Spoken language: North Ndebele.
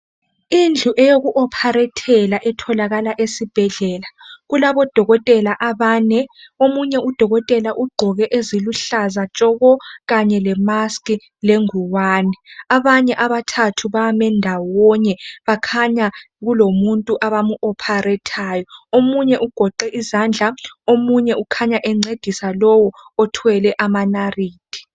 indlu eyoku operathela etholakala esibhedlela kulabo dokotela abane omunye u dokotela ugqoke eziluhlaza tshoko kanye le mask lenguwani abanye abathathu bame ndawonye bakhanya kulomuntu abamu operathayo omunye ugoqe izandla omunye ukhanya encedisa lowu othwele amanarithi